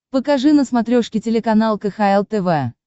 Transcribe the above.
покажи на смотрешке телеканал кхл тв